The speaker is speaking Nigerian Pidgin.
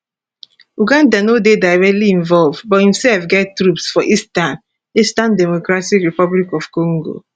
uganda no dey directly involved but imsef get troops for eastern eastern dr congo